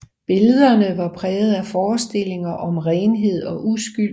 Billederne var præget af forestillinger om renhed og uskyld